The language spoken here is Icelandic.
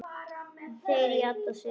Þeir játuðu því.